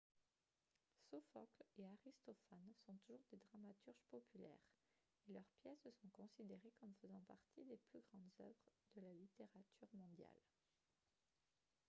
sophocle et aristophane sont toujours des dramaturges populaires et leurs pièces sont considérées comme faisant partie des plus grandes œuvres de la littérature mondiale